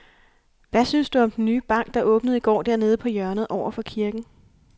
Hvad synes du om den nye bank, der åbnede i går dernede på hjørnet over for kirken?